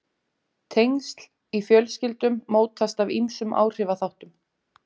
tengsl í fjölskyldum mótast af ýmsum áhrifaþáttum